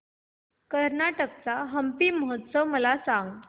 कर्नाटक चा हम्पी महोत्सव मला सांग